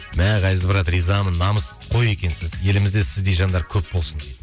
мә ғазиз брат ризамын намысқой екенсіз елімізде сіздей жандар көп болсын дейді